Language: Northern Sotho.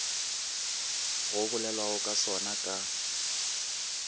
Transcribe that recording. go bolelwago ka sona ka